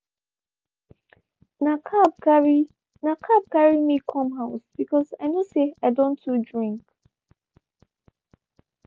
na cab carry na cab carry me come house because i know say i don too drink.